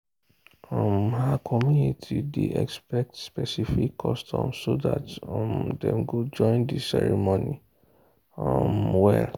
um her community day expect specific customs so that um dem go join the ceremony um well.